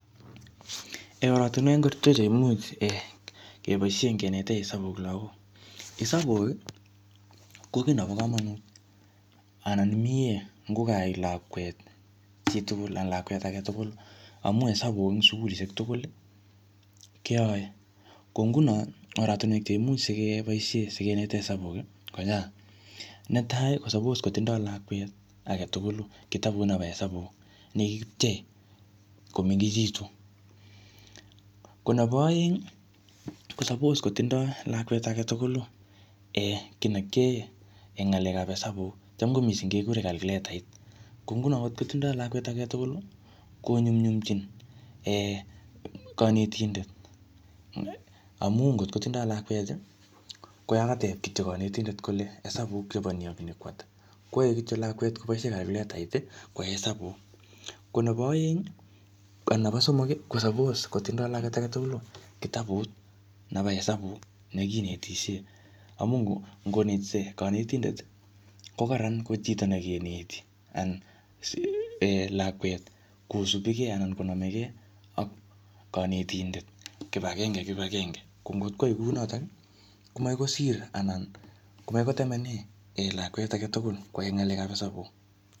Oratunwek ngorcho cheimuch um keboisie kenete isabuk lagok. Isabuk, ko kiy nebo kamanut anan mie ngokaai lakwet chi tugul anan lakwet age tugul. Amu isabuk eng sukulishek tugul, keyae. Ko nguno, oratunwek cheimuch sikeboisie sikenete isabuk kochang. Netai, ko suppose kotindoi lakwet age tugulu kitbut nebo isabuk, ne kikipchei komengechitu. Ko nebo aeng, ko suppose kotindoi lakwet age tugulu um kiy ne kiae ngalekap isabuk. Cham ko missing kekure kalkuletaiat. Ko nguno ngotkotindoi lakweta ge tugulu, konyumnyumchin um kanetindet. Amu ngotkotindoi lakwet, koyakatep kityo kanetindet kole isabuk chebo ni ak ni koata. Kwae kityo lakwet koboisie kalkuletait, kwae isabuk. Ko nebo aeng, anan nebo somok, ko suppose kotindoi lakwet age tugulu kitabut nebo isabuk nekinetishie. Amu ngonetisie kanetindet, ko kararan koip chito nekeneti anan lakwet kosubikey anan konamegei ak kanetindet kibagenge eng kibagenge. Ko ngotkwai kunotok, ko makoi kosir anan makoi kotemene lakwet age tugul kwae ng'alekap isabuk.